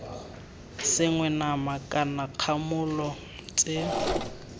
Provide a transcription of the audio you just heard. sengwe nama kana dikgamolo tse